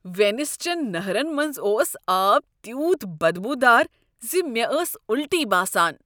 Venice چن نہرن منز اوس آب تیوٗت بدبو دار ز مےٚ ٲس الٹی باسان۔